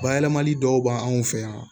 Bayɛlɛmali dɔw b'anw fɛ yan